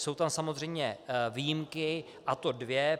Jsou tam samozřejmě výjimky, a to dvě.